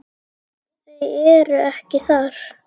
Þau eru ekki þar.